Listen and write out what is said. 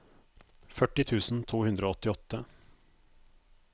førti tusen to hundre og åttiåtte